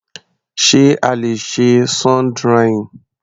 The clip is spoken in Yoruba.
Sé a le ṣe sun drying?